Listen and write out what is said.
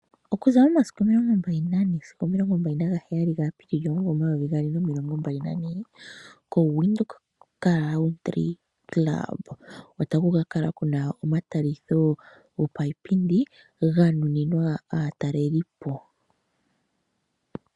Okuza momasiku omilongombali nane sigo omilongombali nagaheyali ga Apiilili omumvo omayovi gaali nomilongombali nane ko Widhoek Country Club otaku kakala kuna omatalitho gopaipindi ga nuninwa aatalelipo.